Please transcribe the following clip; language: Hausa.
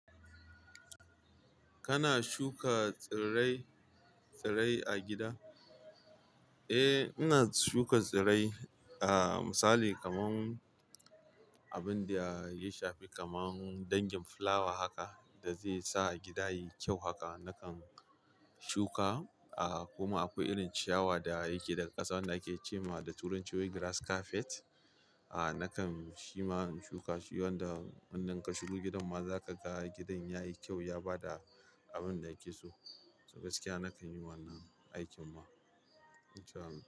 Kana shuka tsirai-tsirai a gida? Eh, ina shuka tsirai. Ah misali kamar abun da ya shafi kamar dangin fulawa haka da zai sa gida yayi kyau haka nakan shuka. Ah kuma akwai irin ciyawa da yake daga ƙasa wanda ake ce ma da turanci "weeds grass carpet". Ah nakan shi ma in shuka shi wanda wannan ka shigo gidanma za ka ga gidan ya yi kyau, ya ba da abin da yake so. To gaskiya nakan yi wannan aikin ma. In sha Allah.